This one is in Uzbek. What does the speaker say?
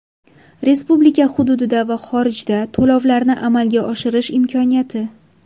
Respublika hududida va xorijda to‘lovlarni amalga oshirish imkoniyati.